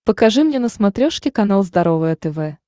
покажи мне на смотрешке канал здоровое тв